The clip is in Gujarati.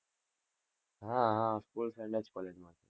હા, હા, school friend જ college માં છે.